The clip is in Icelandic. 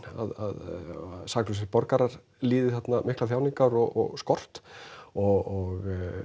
að saklausir borgarar líði þarna miklar þjáningar og skort og